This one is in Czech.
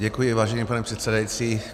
Děkuji, vážený pane předsedající.